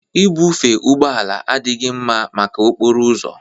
Ibufe ụgbọ ala adịghị mma maka okporo ụzọ